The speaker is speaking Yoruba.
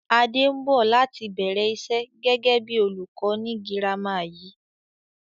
Adé ń bọ̀ láti bẹ̀rẹ̀ ìṣe gẹ́gẹ́ bí olùkọ́ ni girama yìí